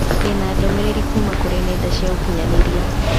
Ndĩ na ndũmĩrĩri kuuma kũrĩ nenda cia ũkĩnyaniria